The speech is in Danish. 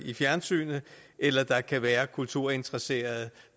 i fjernsynet eller der kan være kulturinteresserede